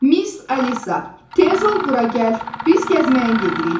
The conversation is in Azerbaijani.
Miss Alisa, tez ol bura gəl, biz gəzməyə gedirik.